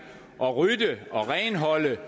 at rydde og renholde